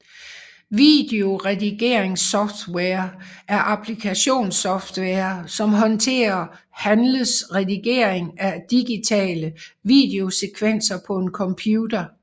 Videoredigeringssoftware er applikationssoftware som håndterer handles redigering af digitale videosekvenser på en computer